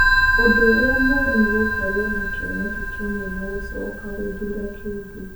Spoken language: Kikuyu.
Ũndũ ũrĩa mũũru nĩ gũkorũo na kĩoneki kĩmwe na gũcoka gũthuura kĩngĩ.